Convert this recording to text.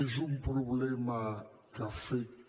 és un problema que afecta